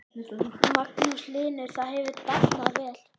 Magnús Hlynur: Það hefur dafnað vel?